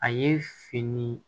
A ye fini